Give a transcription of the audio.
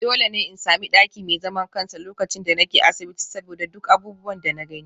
Dole ne in sami daki mai zaman kansa lokacin da nake asibiti saboda duk abubuwan da na gani